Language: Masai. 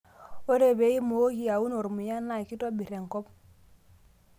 Ore pee imokii aun ormuya naa kitobir enkop